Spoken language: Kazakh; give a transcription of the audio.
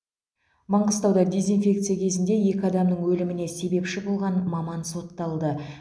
маңғыстауда дезинфекция кезінде екі адамның өліміне себепші болған маман сотталды